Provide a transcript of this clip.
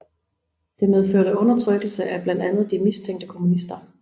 Det medførte undertrykkelse af blandt andet de mistænkte kommunister